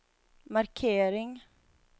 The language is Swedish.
markering